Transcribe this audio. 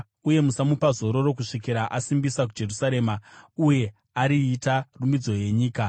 uye musamupa zororo kusvikira asimbisa Jerusarema, uye ariita rumbidzo yenyika.